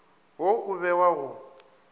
wo o be wa go